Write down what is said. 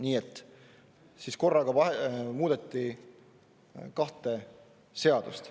Nii et siis korraga muudeti kahte seadust.